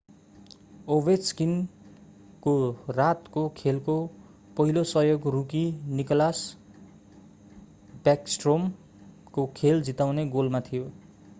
Ovechkin ovechkin को रातको खेलको पहिलो सहयोग rookie Nicklas Backstrom nicklas backstrom को खेल जिताउने गोलमा थियो;